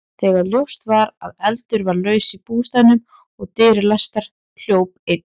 Þegar ljóst var að eldur var laus í bústaðnum og dyr læstar, hljóp einn